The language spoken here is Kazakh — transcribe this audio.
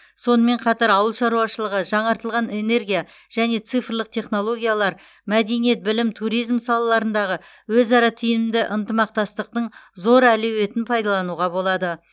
сонымен қатар ауыл шаруашылығы жаңартылған энергия және цифрлық технологиялар мәдениет білім туризм салаларындағы өзара тиімді ынтымақтастықтың зор әлеуетін пайдалануға болады